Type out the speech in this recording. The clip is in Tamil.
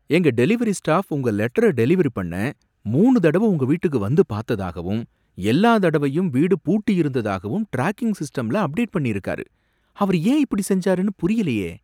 எங்க டெலிவரி ஸ்டாஃப் உங்க லெட்டர டெலிவர் பண்ண மூணு தடவ உங்க வீட்டுக்கு வந்து பார்த்ததாகவும் எல்லா தடவையும் வீடு பூட்டி இருந்ததாகவும் டிராக்கிங் சிஸ்டம்ல அப்டேட் பண்ணிருக்காரு. அவர் ஏன் இப்படி செஞ்சாருனு புரியலையே